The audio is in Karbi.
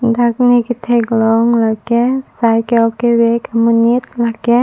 dak ne kethek long la ke cycle kevek monit la ke.